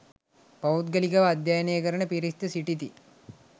පෞද්ගලිකව අධ්‍යයනය කරන පිරිස්ද සිටිති.